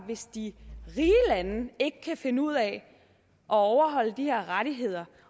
hvis de rige lande ikke kan finde ud af at overholde de her rettigheder